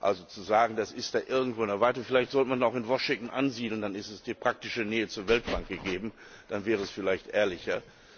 Also zu sagen, das ist da irgendwo in der Weite vielleicht sollte man ihn auch in Washington ansiedeln, dann ist die praktische Nähe zur Weltbank gegeben, das wäre vielleicht ehrlicher.